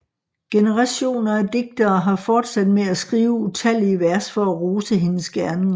Generationer af diktere har fortsat med at skrive utallige vers for at rose hendes gerninger